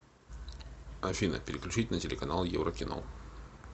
афина переключить на телеканал еврокино